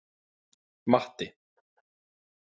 Matti